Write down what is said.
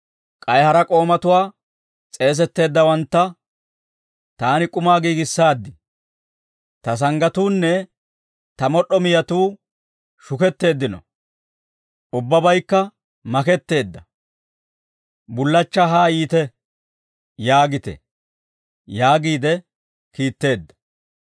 «K'ay hara k'oomatuwaa, ‹S'eesetteeddawantta, «Taani k'umaa giigissaaddi; ta sanggatuunne ta mod'd'o miyatuu shuketteeddino; ubbabaykka maketteedda. Bullachchaa haa yiite» yaagite› yaagiide kiitteedda.